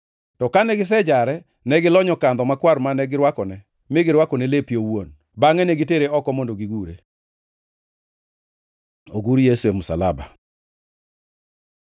To kane gisejare ne gilonyo kandho makwar mane girwakone mi girwakone lepe owuon. Bangʼe ne gitere oko mondo gigure. Ogur Yesu e msalaba